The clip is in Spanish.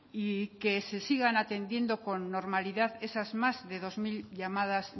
y que se sigaan atiendiendo con normalidad esas más de dos mil llamadas